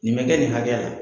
Nin bɛ kɛ nin hakɛya la.